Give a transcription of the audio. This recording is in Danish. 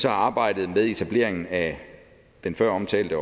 arbejdet med etableringen af den føromtalte